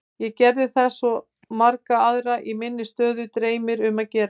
Ég gerði það sem svo marga aðra í minni aðstöðu dreymir um að gera.